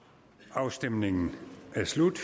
afstemningen er slut